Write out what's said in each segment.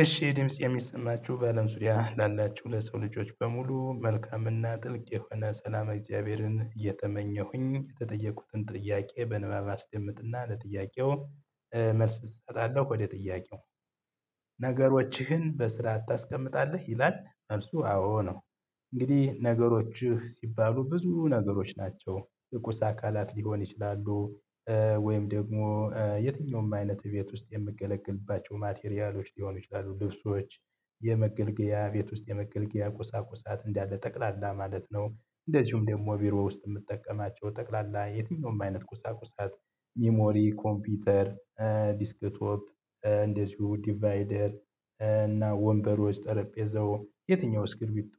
እሺ ድምፄ የሚሰማችሁ በአለም ዙሪያ ላላችሁ ለሰው ልጆች በሙሉ መልካምና ጥልቅ የሆነ ሰላመ እግዚአብሔርን እየተመኘሁኝ የተጠየቁትን ጥያቄ በንባብ አስደምጥና ለጥያቄው እ መልስ እሰጣለሁ ወደ ጥያቄው ነገሮችህን በስራ ታስቀምጣለህ ይላል መልሱ አዎ ነው። እንግዲህ ነገሮችህ ሲባሉ ብዙ ነገሮች ናቸው የቁስ አካላት ሊሆን ይችላሉ እ ወይም ደግሞ እ የትኛውም አይነት ቤት ውስጥ የምገለገልባቸው ማቴሪያሎች ሊሆኑ ይችላሉ ልብሶች። የመገልገያ ቤት ውስጥ የመገልገያ ቁሳቁሳት እንዳለ ጠቅላላ ማለት ነው። እንደዚሁም ደግሞ ቢሮ ውስጥ የምጠቀማቸው ጠቅላላ የትኛውም አይነት ቁሳቁሳት። ሚሞሪ ኮምፒውተር እ ዴስክቶፕ እ እንደዚሁ ዲቫይደር እ እና ወንበሮች ጠረጴዛው የትኛው እስክሪብቶ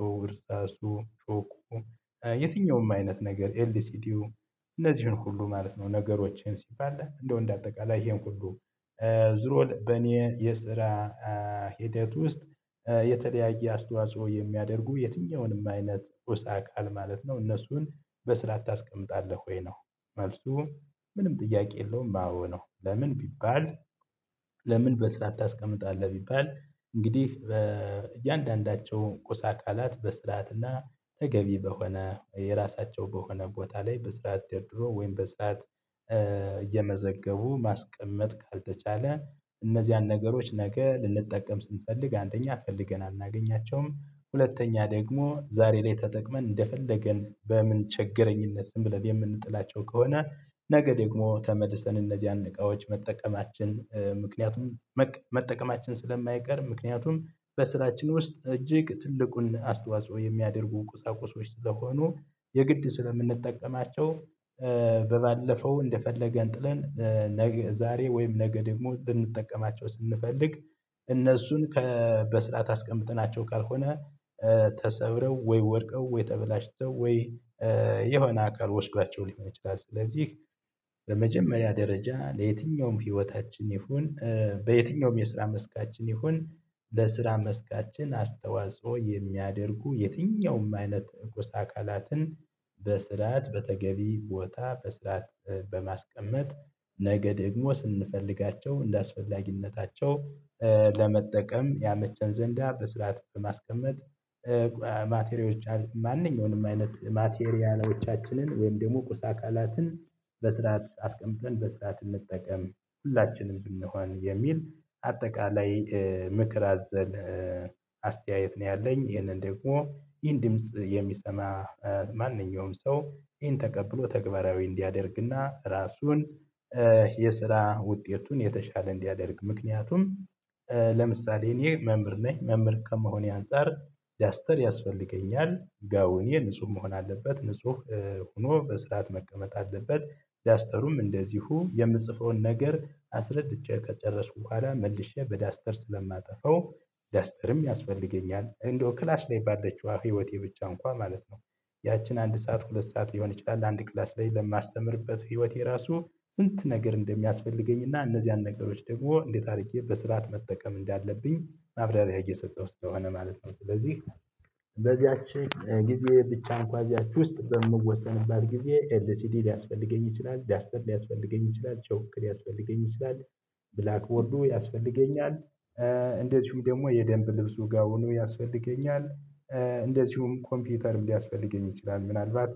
አይነት ነገር ኤልሲዲው እነዚህን ሁሉ ማለት ነው። ነገሮችን ሲባል እንደው እንደ አጠቃላይ ይሄን ሁሉ። ዙሮ በኔ የስራ እ ሂደት ውስጥ እ የተለያየ አስተዋጽኦ የሚያደርጉ የትኛውንም አይነት ቁስ አካል ማለት ነው። እነሱን በስራዓት ታስቀምጣለህ ወይ ነው? መልሱ ምንም ጥያቄ የለውም አዎ ነው ለምን ቢባል። ለምን በስርዓት ታስቀምጣለህ ቢባል እንግዲህ በ እያንዳንዳቸው ቁስ አካላት በስርዓትና ተገቢ በሆነ የራሳቸው በሆነ ቦታ ላይ በስርዓት ደርድሮ ወይም በሰአት እየመዘገቡ ማስቀመጥ ካልተቻለ። እነዚያን ነገሮች ነገ ልንጠቀም ስንፈልግ አንደኛ ፈልገን አናገኛቸውም ሁለተኛ ደግሞ ዛሬ ላይ ተጠቅመን እንደፈለገን በምንቸገረኝነት ዝም ብለን የምንጥላቸው ከሆነ። ነገ ደግሞ ተመልሰን እነዚያን እቃዎች መጠቀማችን ምክንያቱም መጠቀማችን ስለማይቀር ምክንያቱም በስራችን ውስጥ እጅግ ትልቁን አስተዋጽኦ የሚያደርጉ ቁሳቁሶች ስለሆኑ። የግድ ስለምንጠቀማቸው እ በባለፈው እንደፈለገን ጥለን ነገ ዛሬ ወይም ነገ ደግሞ ልንጠቀማቸው ስንፈልግ። እነሱን ከ በስርዓት አስቀምጠናቸው ካልሆነ እ ተሰብረው ወይ ወድቀው ወይ ተበላሽተው ወይ እ የሆነ አካል ወስዷቸው ሊሆን ይችላል። ስለዚህ በመጀመሪያ ደረጃ ለየትኛውም ህይወታችን ይሁን እ በየትኛውም የስራ መስካችን ይሁን። ለስራ መስካችን አስተዋጽኦ የሚያደርጉ የትኛውም አይነት እቁስ አካላትን በስርዓት በተገቢ ቦታ በስራት በማስቀመጥ ነገ ደግሞ ስንፈልጋቸው እንደአስፈላጊነታቸው እ ለመጠቀም ያመቸን ዘንዳ በስራ በማስቀመጥ እ። ማቴሪያሎች ማንኛውንም አይነት ማቴሪያሎቻችንን ወይም ደግሞ ቁስ አካላትን በስርዓት አስቀምጠን በስርዓት እንጠቀም ሁላችንም ብንሆን የሚል አጠቃላይ ምክር አዘል እ አስተያየት ነው። ያለኝ ይህንን ደግሞ ይህን ድምጽ የሚሰማ እ ማንኛውም ሰው ይህን ተቀብሎ ተግባራዊ እንዲያደርግና ራሱን የስራ ውጤቱን የተሻለ እንዲያደርግ። ምክንያቱም እ ለምሳሌ እኔ መምህር ነኝ መምህር ከመሆኔ አንፃር ዳስተር ያስፈልገኛል ጋውኔ ንጹህ መሆን አለበት ንጹህ ሆኖ በስርዓት መቀመጥ አለበት። ዳስተሩም እንደዚሁ የምጽፈውን ነገር አስረድቼ ከጨረስኩ በኋላ መልሼ በዳስተር ስለማጠፋው ዳስተርም ያስፈልገኛል እንደው ክላስ ላይ ባለችዋ ህይወቴ ብቻ እንኳን ማለት ነው። ያችን አንድ ሰዓት ሁለት ሰዓት ሊሆን ይችላል አንድ ክላስ ላይ ለማስተምርበት ህይወቴ ራሱ ስንት ነገር እንደሚያስፈልገኝና እነዚያን ነገሮች ደግሞ እንዴት አድርጌ በስርዓት መጠቀም እንዳለብኝ ማብራሪያ እየሰጠሁ ስለሆነ ማለት ነው። ስለዚህ በዚያች ጊዜ ብቻ እንኳ ካያችሁ ውስጥ በምወሰንባት ጊዜ ኤልሲዲ ሊያስፈልገኝ ይችላል ዳስተር ሊያስፈልገኝ ይችላል ቾክ ሊያስፈልገኝ ይችላል። ብላክቦርዱ ያስፈልገኛል እ እንደዚሁ ደግሞ የደንብ ልብሱ ጋውኑ ያስፈልገኛል። እንደዚሁም ኮምፒውተርም ሊያስፈልገኝ ይችላል ምናልባት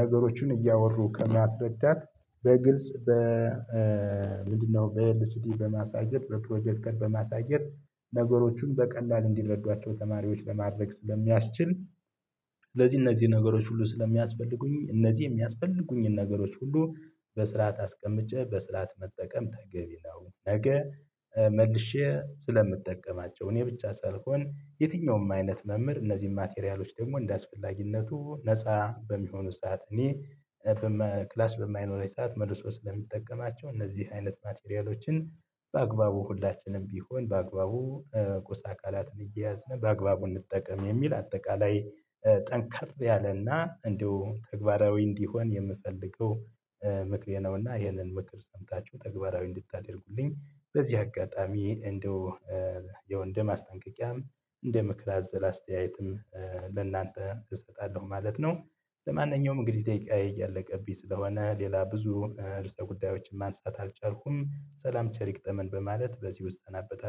ነገሮቹን እያወሩ ከማስረዳት በግልጽ በ እ ምንድነው በኤልሲዲ በማሳየት በፕሮጀክተር በማሳየት ነገሮቹን በቀላል እንዲረዱአቸው ተማሪዎች ለማድረግ ስለሚያስችል። ለዚህ እነዚህ ነገሮች ሁሉ ስለሚያስፈልጉኝ እነዚህ የሚያስፈልጉኝን ነገሮች ሁሉ በስርዓት አስቀምጬ በስርዓት መጠቀም ተገቢ ነው። ነገ እ መልሼ ስለምጠቀማቸው እኔ ብቻ ሳልሆን የትኛውም አይነት መምህር እነዚህን ማቴሪያሎች ደግሞ እንደአስፈላጊነቱ ነፃ በሚሆኑ ሰዓት እኔ እ በመ ክላስ በማይኖረኝ ሰዓት መልሶ ስለሚጠቀማቸው እነዚህ አይነት ማቴሪያሎችን። በአግባቡ ሁላችንም ቢሆን በአግባቡ ቁስ አካላትን እየያዝን በአግባቡ እንጠቀም የሚል አጠቃላይ ጠንከር ያለና እንደውም ተግባራዊ እንዲሆን የምፈልገው። ምክሬ ነውና ይሄንን ምክር ሰምታችሁ ተግባራዊ እንድታደርጉልኝ በዚህ አጋጣሚ እንደው እ የወንድ ማስጠንቀቂያም እንደ ምክር አዘል አስተያየትም ለእናንተ እሰጣለሁ ማለት ነው። ለማንኛውም እንግዲህ ደቂቃዬ እያለቀብኝ ስለሆነ ሌላ ብዙ እ ርዕሰ ጉዳዮችን ማንሳት አልቻልኩም ሰላም ቸር ይግጠመን በማለት በዚሁ እሰናበታለሁ